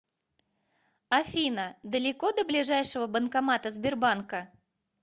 афина далеко до ближайшего банкомата сбербанка